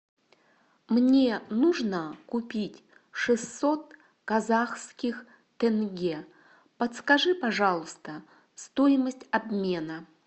мне нужно купить шестьсот казахских тенге подскажи пожалуйста стоимость обмена